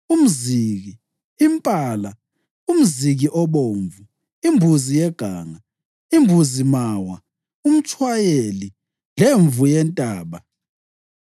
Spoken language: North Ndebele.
umziki, impala, umziki obomvu, imbuzi yeganga, imbuzi mawa, umtshwayeli lemvu yentaba.